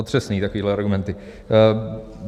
Otřesný, takovýhle argumenty.